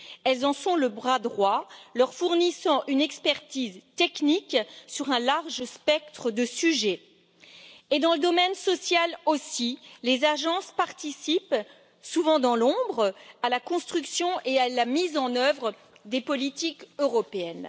Elles en sont le bras droit, leur fournissant une expertise technique sur un large spectre de sujets. Et dans le domaine social aussi, les agences participent, souvent dans l'ombre, à la construction et à la mise en œuvre des politiques européennes.